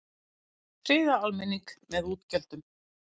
Friða almenning með útgjöldum